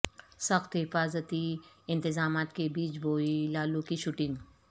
سخت حفاظتی انتظامات کے بیچ ہوئی لالو کی شوٹنگ